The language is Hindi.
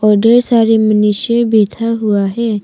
और ढेर सारे मनुष्य बैठा हुआ है।